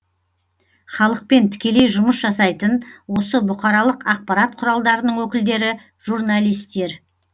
халықпен тікелей жұмыс жасайтын осы бұқаралық ақпарат құралдарының өкілдері журналистер